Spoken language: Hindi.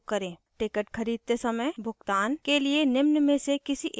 ticket खरीदते समय भुगतान के लिए निम्न में से किसी एक की ज़रुरत होती है;